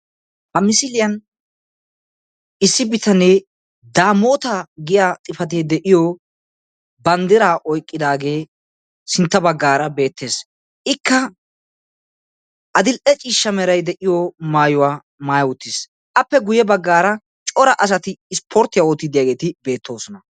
Ha misiliyan issi bitanee daamoota giyaa xuufee de'iyo banddiraa oyqqidaagee sintta baggaara beettes. Ikka adill'e ciishsha merayi de'iyo maayuwa maayi uttis. Appe guyye baggaara cora asati ispporttiya oottiiddi diygeeti beettoosona.